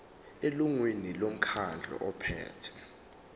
elungwini lomkhandlu ophethe